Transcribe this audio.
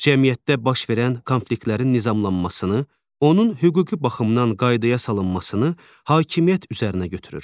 Cəmiyyətdə baş verən konfliktlərin nizamlanmasını, onun hüquqi baxımdan qaydaya salınmasını hakimiyyət üzərinə götürür.